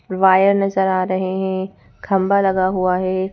Wire नजर आ रहे हैं खंबा लगा हुआ है।